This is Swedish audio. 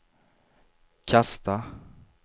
kasta